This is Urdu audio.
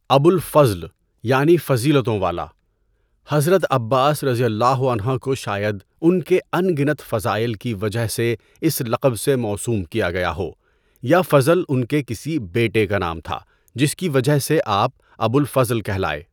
ابو الفضل یعنی فضیلتوں والا، حضرت عباس رضی اللہ عنہ کو شاید ان کے انگنت فضائل کی وجہ سے اس لقب سے موسوم کیا گیا ہو یا فضل ان کے کسی بیٹے کا نام تھا جس کی وجہ سے آپ ابو الفضل کہلائے۔